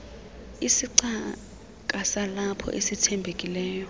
isicaka salapho esithembekileyo